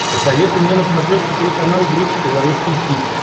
посоветуй мне на смотрешке телеканал бридж тв русский хит